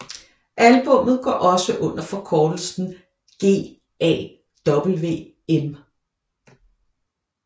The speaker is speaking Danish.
Albummet går også under forkortelsen GAWM